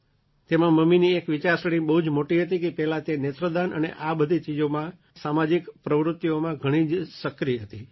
તેમાં મમ્મીની એક વિચારસરણી બહુ જ મોટી હતી કે પહેલાં તે નેત્રદાન અને આ બધી ચીજોમાં સામાજિક પ્રવૃત્તિઓમાં ઘણી જ સક્રિય હતી